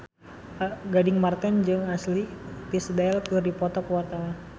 Gading Marten jeung Ashley Tisdale keur dipoto ku wartawan